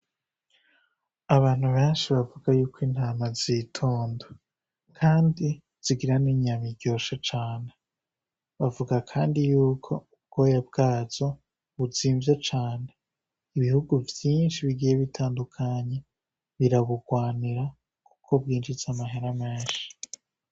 Abantu benshi bavuga ko intama zitonda kandi zigira n'inyama iryoshe cane. Bavuga kandi yuko ubwoya bwazo buzimvye cane. Ibihugu vyinshi bigiye bitandukanye birabugwanira kuko bwinjiza amahera menshi.